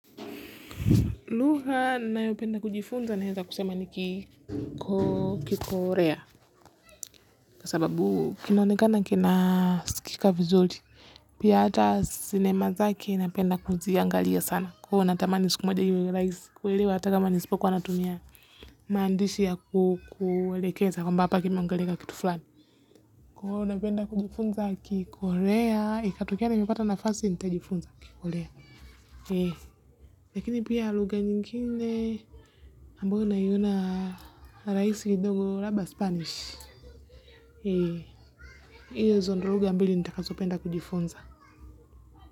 Luha nayopenda kujifunza nawasema kikorea. Kwa sababu kinonekana kina sukika vizuri. Pia ata sinema zake napenda kuziangalia sana. Kwa natamanisikumoja yu ulai. Kwa hivyo ataka manisipo kwa anatumia maandisha kukulekeza kwa mbapa kimeangalika kitu flani. Kwa napenda kujifunza kikorea. Ikatokea na mipeta nafasi nita jifunza kikorea. Lakini pia luga nyingine. Mbona naiona rahisi kidogo labda spanish. Iyo zo ndo rugha mbili nitakazopenda kujifunza.